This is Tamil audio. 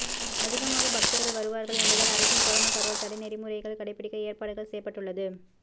அதிகமாக பக்தர்கள் வருவார்கள் என்பதால் அரசின் கொரோனா பரவல் தடை நெறிமுறைகள் கடைபிடிக்க ஏற்பாடுகள் செய்யப்பட்டுள்ளது